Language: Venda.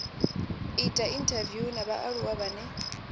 ita inthaviwu na vhaaluwa vhane